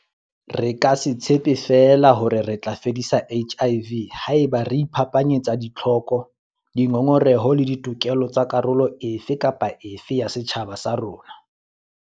Re ka se tshepe feela hore re tla fedisa HIV haeba re iphapanyetsa ditlhoko, dingongoreho le ditokelo tsa karolo e fe kapa e fe ya setjhaba sa rona.